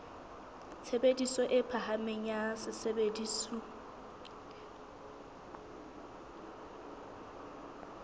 tshebediso e phahameng ya sesebediswa